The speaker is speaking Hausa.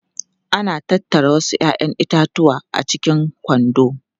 Ana tattara wasu 'ya'yan itatuwa a cikin kwando.